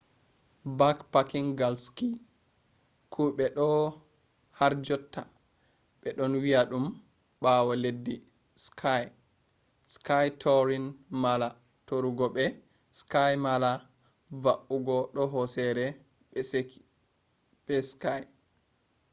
backpacking gal ski: kuɓe do harjotta ɓe ɗon wi'a ɗum ɓawo laddi ski ski touring mala tarugo be ski mala va’ugo do hosere be ski